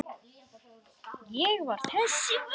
Ég var þess virði.